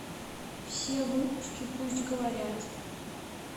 все выпуски пусть говорят